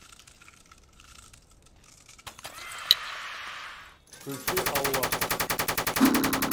включи аллаха